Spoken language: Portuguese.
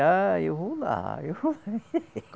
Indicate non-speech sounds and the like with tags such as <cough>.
Ah, eu vou lá. <laughs>